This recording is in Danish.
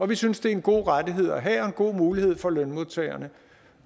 vi synes det er en god rettighed have og en god mulighed for lønmodtagerne